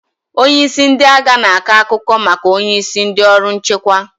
Onye isi ndị agha na-akọ akụkọ maka onye isi ndị ọrụ nchekwa